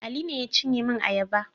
Ali ne ya cinye min ayaba.